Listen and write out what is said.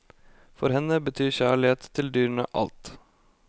For henne betyr kjærlighet til dyrene alt.